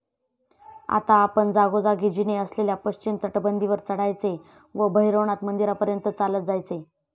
आता आपण जागोजागी जिने असलेल्या पश्चिम तटबंदीवर चढायचे व भैरवनाथ मंदिरापर्यंत चालत जायचे.